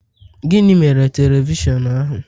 Gịnị mere telivishọn ahu?